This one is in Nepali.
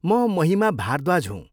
म महिमा भारद्वाज हुँ।